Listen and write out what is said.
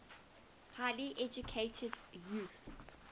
highly educated youth